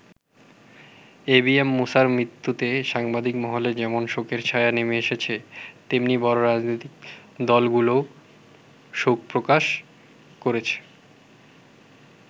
ABM মূসার মৃত্যুতে সাংবাদিক মহলে যেমন শোকের ছায়া নেমে এসেছে, তেমনি বড় রাজনৈতিক দলগুলোও শোক প্রকাশ করেছে।